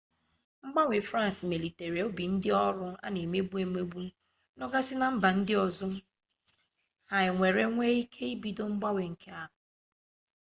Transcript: mgbanwe france melitere obi ndi oru ana emegbu emegbu no gasi na mba ndi ozo ha ewere wee ike ibido mgbanwe nke ha